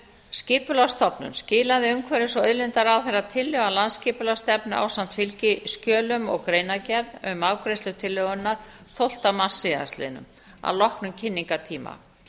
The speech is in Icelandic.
skipulagsstofnun skilaði umhverfis og auðlindaráðherra tillögu að landsskipulagsstefnu ásamt fylgiskjölum og greinargerð um afgreiðslu tillögunnar tólfta mars síðastliðinn að loknum kynningartíma